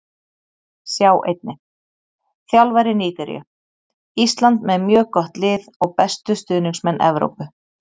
Sjá einnig: Þjálfari Nígeríu: Ísland með mjög gott lið og bestu stuðningsmenn Evrópu